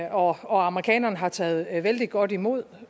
og amerikanerne har jo taget vældig godt imod